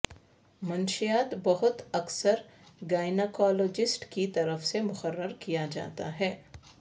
منشیات بہت اکثر گائناکالوجسٹ کی طرف سے مقرر کیا جاتا ہے